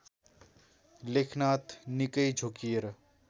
लेखनाथ निकै झोक्किएर